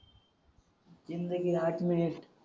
जिंदगी आठ मिनिट